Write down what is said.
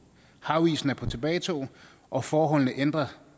havisen er på tilbagetog og forholdene ændrer